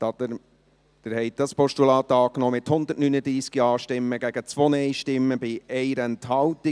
Sie haben dieses Postulat angenommen, mit 139 Ja- zu 2 Nein-Stimmen bei 1 Enthaltung.